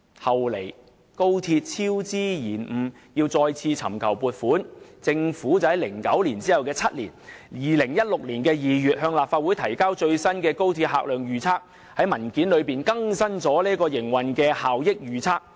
後來，高鐵超支延誤要再次尋求撥款，政府便在2009年的7年後，即2016年2月向立法會提交最新的高鐵客量預測，並在文件中更新營運效益預測。